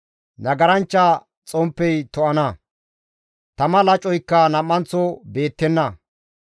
Nagaranchcha xomppey to7ana; tama lacoykka nam7anththo beettenna;